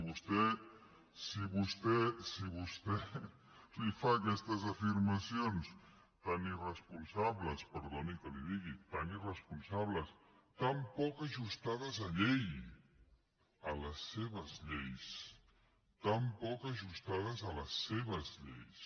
però clar si vostè li fa aquestes afirmacions tan irresponsables perdoni que li ho digui tan irresponsables tan poc ajustades a llei a les seves lleis tan poc ajustades a les seves lleis